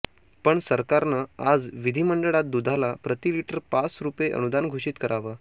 पण सरकारनं आज विधिमंडळात दुधाला प्रतिलिटर पाच रुपये अनुदान घोषित करावं